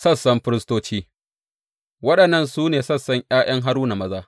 Sassan firistoci Waɗannan su ne sassan ’ya’yan Haruna maza.